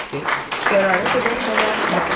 Qərara qədər hələ var.